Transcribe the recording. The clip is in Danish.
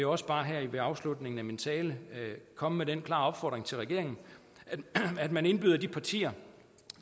også bare her ved afslutningen af min tale komme med den klare opfordring til regeringen at man indbyder de partier